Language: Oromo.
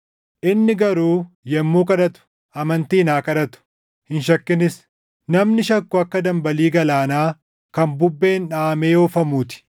Inni garuu yommuu kadhatu amantiin haa kadhatu; hin shakkinis; namni shakku akka dambalii galaanaa kan bubbeen dhaʼamee oofamuu ti.